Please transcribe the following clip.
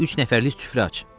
Üç nəfərlik süfrə aç.